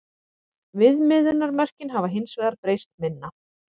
Viðmiðunarmörkin hafa hins vegar breyst minna.